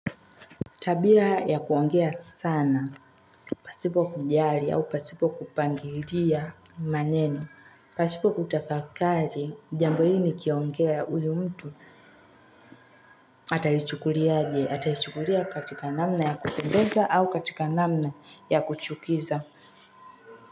Tabia ya kuongea sana pasipo kujali au pasipo kupangilia maneno pasipo kutafakari jambo hili nikiongea huyu mtu atahishukulia aje, atahishukulia katika namna ya kupendeza au katika namna ya kuchukiza.